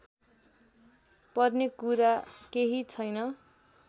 पर्ने कुरा केही छैन